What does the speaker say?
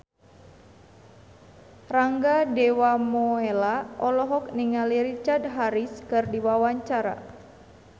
Rangga Dewamoela olohok ningali Richard Harris keur diwawancara